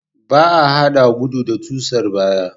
Ba a haɗa gudu da susar baya.